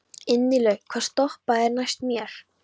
Ingilaug, hvaða stoppistöð er næst mér?